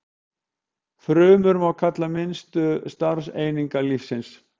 Frumur má kalla minnstu starfseiningar lífsins.